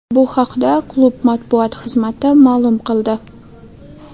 Bu haqda klub matbuot xizmati ma’lum qildi.